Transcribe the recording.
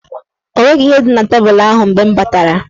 O nweghi ihe dị na tebul ahụ mgbe m batara.